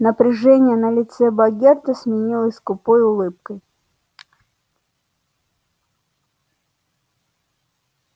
напряжение на лице богерта сменилось скупой улыбкой